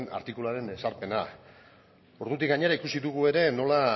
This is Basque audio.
artikuluaren ezarpena ordutik gainera ikusi dugu ere nola